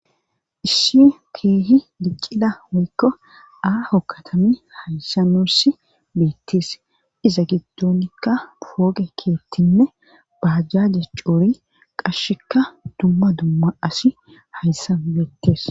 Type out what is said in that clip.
Issi keehi diccida woykko aaho katami hayssamoss beittees iza giddonikka pooge keettinne baajjaaje coori qashsheka dumma dumma asi hayssan beettees.